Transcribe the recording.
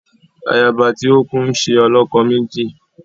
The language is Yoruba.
Ayaba ti ọ kù nṣe olokomeji